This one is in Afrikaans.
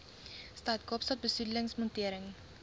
stad kaapstad besoedelingsmonitering